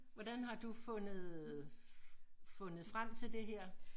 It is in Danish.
Hvordan har du fundet øh fundet frem til det her